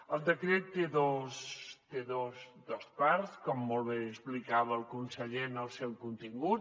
el decret té dos parts com molt bé explicava el conseller en el seu contingut